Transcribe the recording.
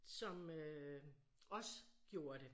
Som øh også gjorde det